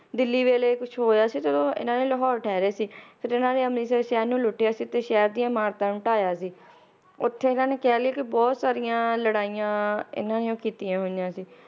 ਦਿੱਲੀ ਵੇਲੇ ਕੁਛ ਹੋਇਆ ਸੀ ਜਦੋਂ ਇਹਨਾਂ ਨੇ ਲਾਹੌਰ ਠਹਿਰੇ ਸੀ ਫੇਰ ਇਹਨਾਂ ਨੇ ਅਮ੍ਰਿਤਸਰ ਸ਼ਹਿਰ ਨੂੰ ਲੁੱਟਿਆ ਸੀ ਤੇ ਸ਼ਹਿਰ ਦੀਆਂ ਇਮਾਰਤਾਂ ਨੂੰ ਢਾਇਆ ਸੀ ਓਥੇ ਇਹਨਾਂ ਨੇ ਕਹਿ ਲਇਏ ਕਿ ਬਹੁਤ ਸਾਰੀਆਂ ਲੜਾਈਆਂ ਇਹਨਾਂ ਨੇ ਉਹ ਕੀਤੀਆਂ ਹੋਈਆਂ ਸੀ